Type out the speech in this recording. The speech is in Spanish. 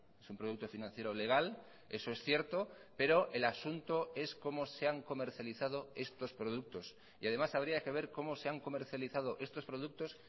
es un producto financiero legal eso es cierto pero el asunto es cómo se han comercializado estos productos y además habría que ver como se han comercializado estos productos